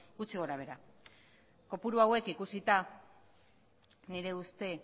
gutxi gorabehera kopuru hauek ikusita nire ustea